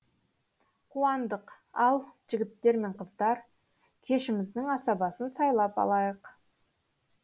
қуандық ал жігіттер мен қыздар кешіміздің асабасын сайлап алайық